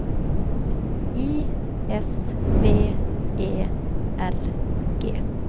I S B E R G